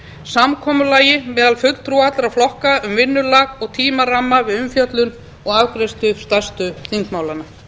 samkomulagi meðal fulltrúa allra flokka um vinnulag og tímaramma við umfjöllun og afgreiðslu stærstu þingmálanna